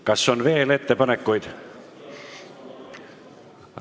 Kas on veel ettepanekuid?